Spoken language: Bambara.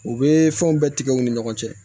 U bɛ fɛnw bɛɛ tigɛ u ni ɲɔgɔn cɛ